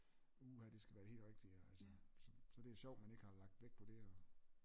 Uha det skal være det helt rigtige og altså så det er sjovt at man ikke har lagt vægt på det og